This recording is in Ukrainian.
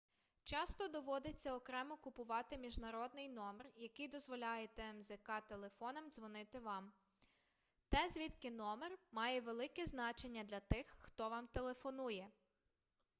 часто доводиться окремо купувати міжнародний номер який дозволяє тмзк-телефонам дзвонити вам те звідки номер має велике значення для тих хто вам телефонує